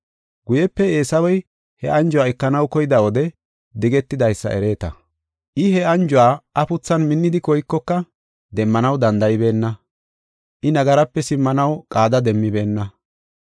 Guyepe Eesawey he anjuwa ekanaw koyida wode digetidaysa ereeta. I he anjuwa afuthan minnidi koykoka, demmanaw danda7ibeenna; I nagaraape simmanaw qaada demmibeenna.